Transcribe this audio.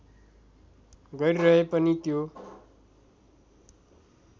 गरिरहे पनि त्यो